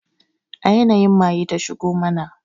A yanayin maye ta shigo mana